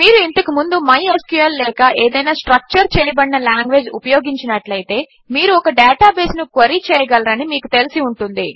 మీరు ఇంతకు ముందు మైస్క్ల్ లేక ఏదైనా స్ట్రక్చర్ చేయబడిన లాంగ్వేజ్ ఉపయోగించినట్లైతే మీరు ఒక డేటాబేస్ను క్వెరీ చేయగలరని మీకు తెలిసి ఉంటుంది